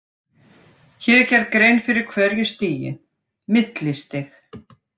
Hér er gerð grein fyrir hverju stigi: Millistig.